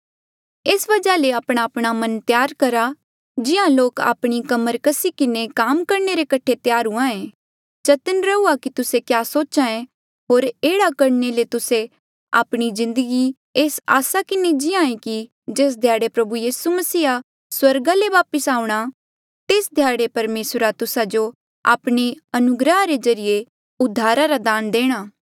एस वजहा ले आपणाआपणा मन त्यार करा जिहां लोक आपणी कमर कस्सी किन्हें काम करणे रे कठे त्यार हूंहाँ ऐें चतन्न रहूआ की तुस्से क्या सोच्हे होर एह्ड़ा करणे ले तुस्से आपणे जिन्दगी एस आसा किन्हें जीये कि जेस ध्याड़े प्रभु यीसू मसीहा स्वर्गा ले वापस आऊंणा तेस ध्याड़े परमेसरा तुस्सा जो आपणे अनुग्रहा रे ज्रीए उद्धारा रा दान देणा